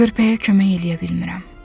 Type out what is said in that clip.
Körpəyə kömək eləyə bilmirəm.